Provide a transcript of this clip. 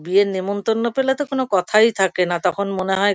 বিয়ের নেমন্তন্ন পেলে তো কোনো কথাই থাকে না। তখন মনে হয়--